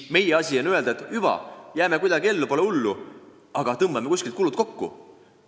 Meie asi aga on öelda, et hüva, jääme kuidagi ellu, pole hullu, aga tõmbame kuskil kulusid kokku.